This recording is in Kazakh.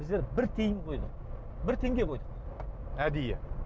біздер бір тиын қойдық бір теңге қойдық әдейі